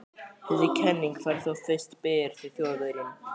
Þessi kenning fékk þó fyrst byr þegar Þjóðverjinn